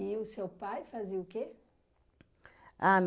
o seu pai fazia o quê? Ah